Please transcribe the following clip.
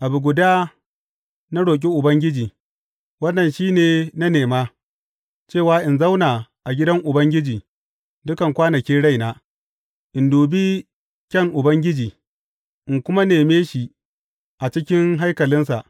Abu guda na roƙi Ubangiji, wannan shi ne na nema, cewa in zauna a gidan Ubangiji dukan kwanakin raina, in dubi kyan Ubangiji in kuma neme shi a cikin haikalinsa.